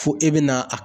Fo e bɛna a